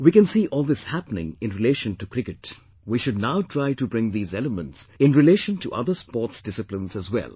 We can see all this happening in relation to cricket; we should now try to bring these elements in relation to other sports disciplines as well